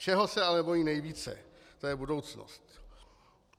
Čeho se ale bojí nejvíce, to je budoucnost.